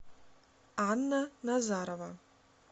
анна назарова